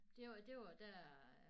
Det var det var dér